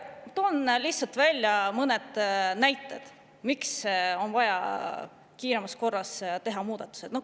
Toon lihtsalt mõned näited, miks on vaja kiiremas korras teha muudatusi.